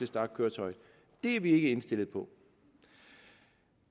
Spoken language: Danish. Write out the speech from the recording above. starte køretøjet er vi ikke indstillet på